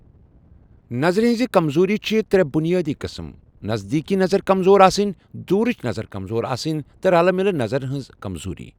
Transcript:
نظرِ ہنزِ كمزوٗری چھِ ترٛےٚ بُنیٲدی قٕس‏ٕم نزدیکٕچ نظر كمزور آسٕنۍ، دوُرِچ نظر كمزور آسٕنۍ تہٕ رلہٕ مِلہِ نظرِ ہنز كمزوٗری۔